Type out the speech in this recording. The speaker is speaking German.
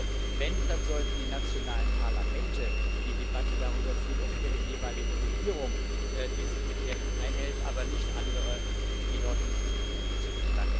Und wenn überhaupt, dann sollten die nationalen Parlamente die Debatte darüber führen, ob ihre jeweilige Regierung diese Kriterien einhält, aber nicht andere, die nicht dazu berufen sind.